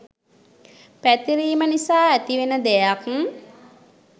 පැතිරීම නිසා ඇතිවෙන දෙයක්.